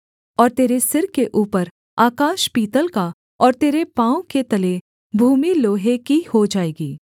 और तेरे सिर के ऊपर आकाश पीतल का और तेरे पाँव के तले भूमि लोहे की हो जाएगी